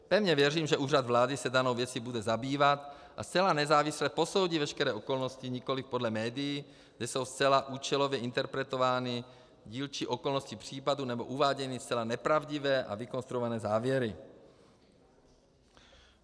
Pevně věřím, že Úřad vlády se danou věcí bude zabývat a zcela nezávisle posoudí veškeré okolnosti nikoliv podle médií, kde jsou zcela účelově interpretovány dílčí okolnosti případu nebo uváděny zcela nepravdivé a vykonstruované závěry.